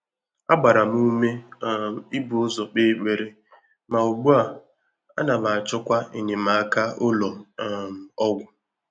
Á gbàrà m úmé um íbù ụ́zọ́ kpèé ékpèré, mà ùgbú à, ànà m àchọ́kwà ényémáká ụ́lọ́ um ọ́gwụ́.